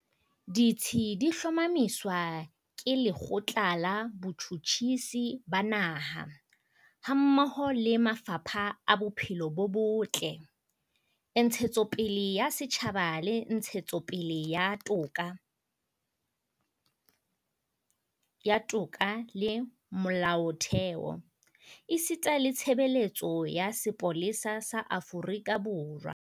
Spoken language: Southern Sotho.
Ditsi di hlomamiswa ke Le kgotla la Botjhutjhisi ba Naha, hammoho le mafapha a Bophelo bo Botle, Ntshetsopele ya Setjhaba le Ntshetsopele ya Toka le Molaotheo, esita le Tshebeletso ya Sepolesa sa Aforika Borwa SAPS.